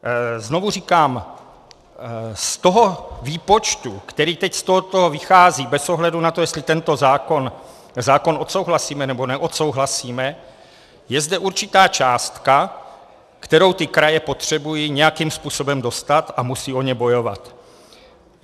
Znovu říkám, z toho výpočtu, který teď z tohoto vychází, bez ohledu na to, jestli tento zákon odsouhlasíme, nebo neodsouhlasíme, je zde určitá částka, kterou ty kraje potřebují nějakým způsobem dostat, a musí o ni bojovat.